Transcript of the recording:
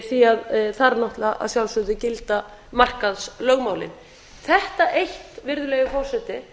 því að þar náttúrlega að sjálfsögðu gilda markaðslögmálin þetta eitt virðulegi forseti